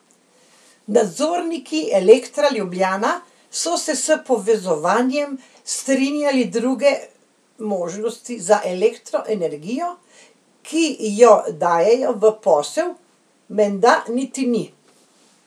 Nadzorniki Elektra Ljubljana so se s povezovanjem strinjali, druge možnosti za Elektro energijo, ki jo dajejo v posel, menda niti ni.